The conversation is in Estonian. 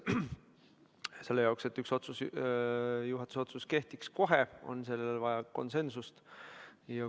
Selleks, et üks juhatuse otsus kehtiks kohe, on sellele vaja konsensust.